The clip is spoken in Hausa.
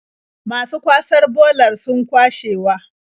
Masu kwasar bolar sun kwashewa.